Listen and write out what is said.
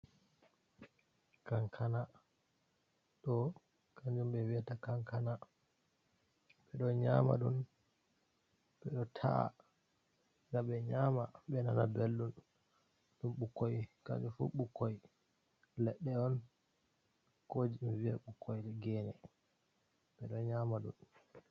Kankana ɗo kanjum ɓe wi’ata kankana, ɓeɗo nyama ɗum, e taa de ɓe nyama be nana belldɗum ɓukoi kanjum fu ɓukoi leɗɗe on ko vie ɓukoi gene ɓeɗo nyama ɗum.